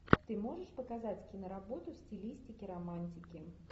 ты можешь показать киноработу в стилистике романтики